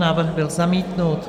Návrh byl zamítnut.